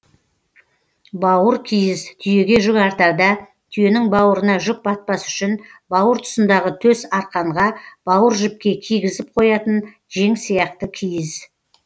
бауыр киіз түйеге жүк артарда түйенің бауырына жүк батпас үшін бауыр тұсындағы төс арқанға бауыр жіпке кигізіп қоятын жең сияқты киіз